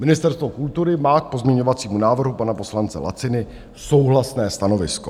Ministerstvo kultury má k pozměňovacímu návrhu pana poslance Laciny souhlasné stanovisko.